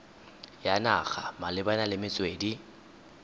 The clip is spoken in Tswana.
ya naga malebana le metswedi